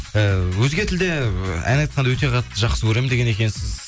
ііі өзге тілде ы ән айтқанды өте қатты жақсы көремін деген екенсіз